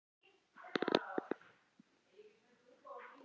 Misgengissprungum fylgir oft lag af mulningi á sprungufletinum.